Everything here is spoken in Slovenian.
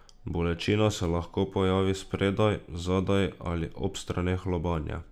Bolečina se lahko pojavi spredaj, zadaj ali ob straneh lobanje.